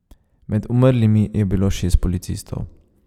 Med umrlimi je bilo šest policistov.